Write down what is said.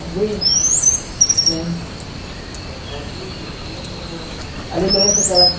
Participava quem queria ou era... A lembrança que ela tin